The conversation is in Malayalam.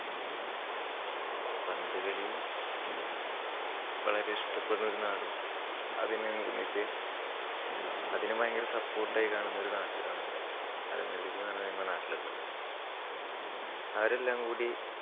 പന്തുകളി വളരെ ഇഷ്ടപെടുന്ന ഒരു നാടും അതിനെ അതിനെ ഭയങ്കര support ആയി കാണുന്ന ഒരു നാട്ടുകാരും ആണ് എന്ത് അലനല്ലൂര് എന്നുപറഞ്ഞ ഞങ്ങടെ നാട്ടിലുള്ളത്. അവരെല്ലാം കൂടി